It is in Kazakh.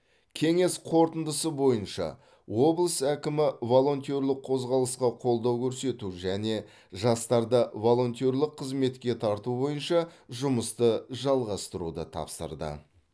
кеңес қорытындысы бойынша облыс әкімі волонтерлік қозғалысқа қолдау көрсету және жастарды волонтерлік қызметке тарту бойынша жұмысты жалғастыруды тапсырды